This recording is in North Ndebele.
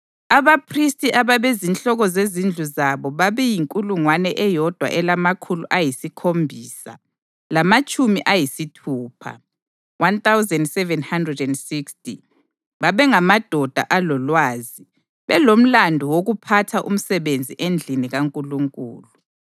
Abaphristi ababezinhloko zezindlu zabo babeyinkulungwane eyodwa elamakhulu ayisikhombisa lamatshumi ayisithupha (1,760). Babengamadoda alolwazi, belomlandu wokuphatha umsebenzi endlini kaNkulunkulu.